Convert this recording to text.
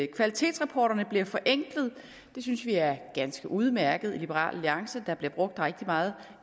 kvalitetsrapporterne bliver forenklet det synes vi er ganske udmærket i liberal alliance der bliver brugt rigtig meget